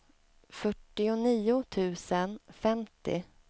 fyrtionio tusen femtio